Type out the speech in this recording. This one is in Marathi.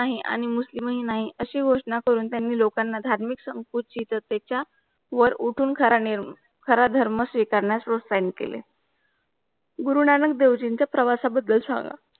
नाही आणि मुस्लिम हि नाही अशी गोषना करून त्यांनी लोखांना धार्मिक सम्पूर्नची वर उठून कारणे खारधर्म शेखांनोस श्रोस साईन केले. गुरुनानक देवजीं चा प्रवासा बद्दल सांगा